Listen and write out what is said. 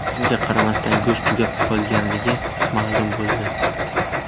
Shunga qaramasdan, go‘sht tugab qolganligi ma’lum bo‘ldi.